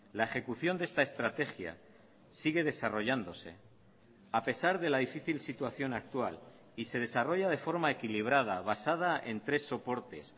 la ejecución de esta estrategia sigue desarrollándose a pesar de la difícil situación actual y se desarrolla de forma equilibrada basada en tres soportes